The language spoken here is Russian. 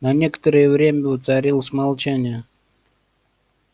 на некоторое время воцарилось молчание